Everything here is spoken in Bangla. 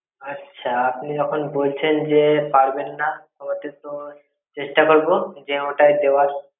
আচ্ছা, আপনি যখন বলছেন যে পারবেন না, চেষ্টা করবো যে ওটাই দেওয়ার।